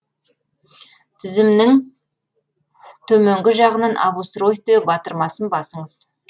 тізімнің төменгі жағынан об устройстве батырмасын басыңыз